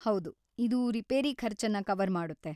ಹೌದು, ಇದು ರಿಪೇರಿ ಖರ್ಚನ್ನ ಕವರ್‌ ಮಾಡುತ್ತೆ.